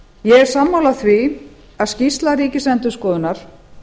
ég er sammála því að skýrsla ríkisendurskoðunar